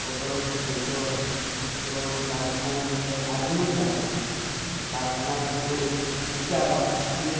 কত লোক বসেও আছে এবং কারখানার মধ্যে আগুনও জ্বালানো আছে কারখানার ওপরে সীটা বা টিনের--